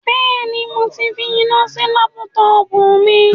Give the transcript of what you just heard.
Mo ti finá sí lápútọpù mi.